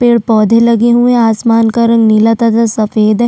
पेड़ पौधे लगे हुए है आसमान का रंग नीला तथा सफेद है।